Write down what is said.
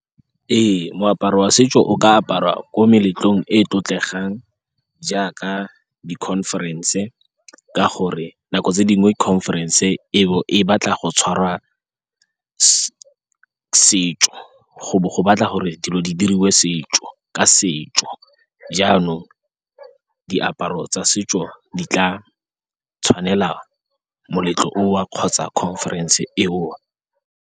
Ee moaparo wa setso o ka aparwa ko meletlong e e tlotlegang jaaka di-conference ka gore nako tse dingwe conference eo e batla go tshwarwa setso go bo go batlwa gore dilo di diriwe ka setso jaanong diaparo tsa setso di tla tshwanela moletlo owa kgotsa conference eo.